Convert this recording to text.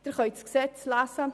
Sie können das Gesetz lesen.